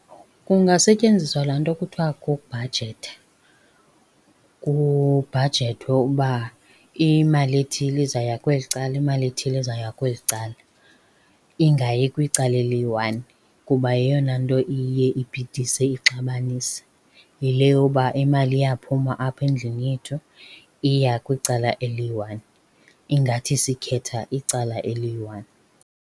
Kungasetyenziswa laa nto kuthiwa kukubhajetha. Kubhajethwe uba imali ethile izawuya kweli cala, imali ethile izawuya kweli cala. Ingayi kwicala eliyi-one kuba yeyona nto iye ibhidise ixabanise. Yile yoba imali iyaphuma apha endlini yethu iya kwicala eliyi-one, ingathi sikhetha icala eliyi-one.